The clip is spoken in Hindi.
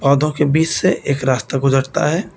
पौधों के बीच से एक रास्ता गुजरता है।